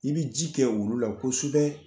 I bɛ ji kɛ olu la kosubɛ